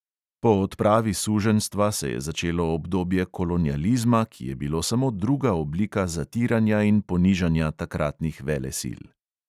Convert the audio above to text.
Po odpravi suženjstva se je začelo obdobje kolonializma, ki je bilo samo druga oblika zatiranja in ponižanja takratnih velesil.